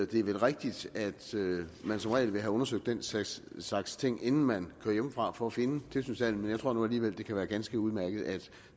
det er vel rigtigt at man som regel vil have undersøgt den slags slags ting inden man kører hjemmefra for at finde tilsynshallen men jeg tror nu alligevel at det kan være ganske udmærket at